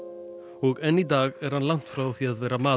og enn í dag er hann langt frá því að vera maðurinn